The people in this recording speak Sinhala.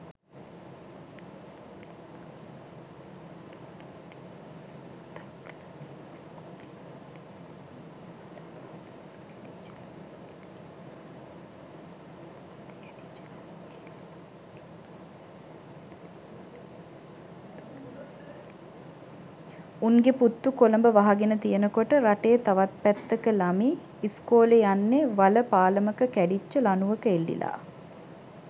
උන්ගේ පුත්තු කොළඹ වහගෙනතියනකොට රටේ තවත් පැත්තක ලමි ඉස්කෝලේ යන්නේ වල පාලමක කැඩිච්ච ලනුවක එල්ලිලා.